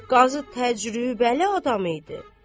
Qazı təcrübəli adam idi.